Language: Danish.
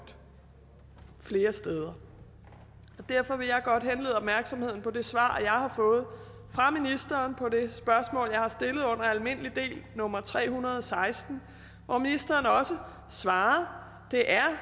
flere steder derfor vil jeg godt henlede opmærksomheden på det svar jeg har fået fra ministeren på det spørgsmål jeg har stillet under almindelig del nummer tre hundrede og seksten hvor ministeren svarer det er